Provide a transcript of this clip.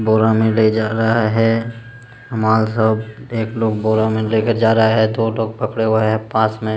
बोरा में ले जा रहा है हमारा सब एक लोग बोरा में लेके जा रहा है दो लोग पकड़े हुए हैं पास में।